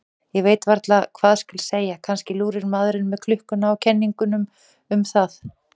Ég veit varla hvað skal segja, kannski lúrir maðurinn með klukkuna á kenningum um það.